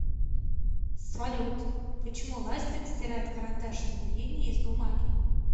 салют почему ластик стирает карандашные линии с бумаги